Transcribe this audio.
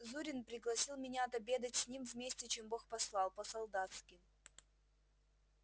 зурин пригласил меня отобедать с ним вместе чем бог послал по-солдатски